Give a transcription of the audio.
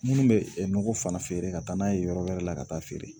Minnu bɛ nɔgɔ fana feere ka taa n'a ye yɔrɔ wɛrɛ la ka taa feere